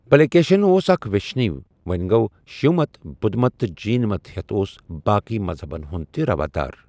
پلیکیشین اوس اکھ ویشنوی ووٚنہِ گوٚو شیو مت، بدھ مت تہٕ جین مت ہیٚتھ اوس باقےٕ مذہبن ہُنٛد تہِ روادار۔